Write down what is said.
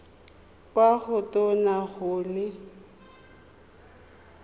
kwa go tona go le